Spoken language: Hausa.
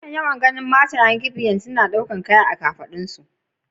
Na kan yawan ganin matayen gbagyi suna daukan kaya a kan kafadun su.